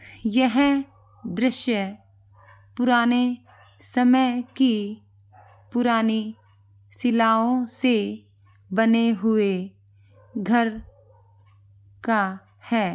यह है दृश्य पुराने समय की पुरानी सिलाओ से बने हुए घर का है।